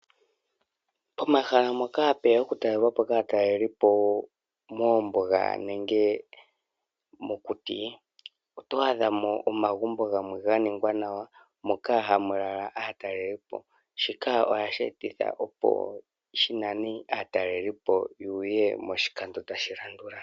Pomahala mpoka hapu ya oku talelwapo kaatalelipo mombuga nenge mokuti. Oto adha mo omagumbo gamwe ga ningwa nawa moka hamu lala aatalelipo. Shika ohashi etitha opo shi nane aatalelipo yeye moshikando tashi landula.